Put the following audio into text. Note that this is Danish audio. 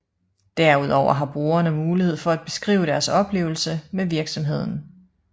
Derudover har brugerne mulighed for at beskrive deres oplevelse med virksomheden